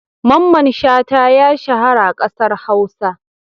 Mamman Shata ya shahara a ƙasar Hausa.